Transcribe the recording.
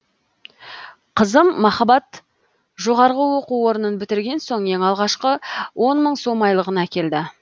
қызым махаббат жоғарғы оқу орнын бітірген соң ең алғашқы он мың сом айлығын әкелді